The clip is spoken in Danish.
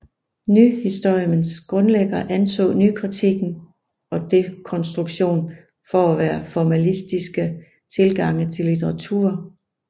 Nyhistorismens grundlæggere anså nykritikken og dekonstruktion for at være formalistiske tilgange til litteratur